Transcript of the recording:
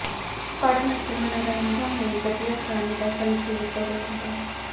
ਫੜਨ ਅਤੇ ਮਨੋਰੰਜਨ ਲਈ ਵਧੀਆ ਪਾਣੀ ਦਾ ਸੰਖੇਪ ਵੇਰਵਾ